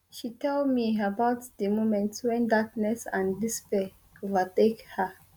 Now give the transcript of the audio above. she tell me about di moments wen darkness and despair overtake her